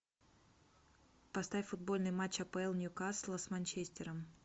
поставь футбольный матч апл ньюкасла с манчестером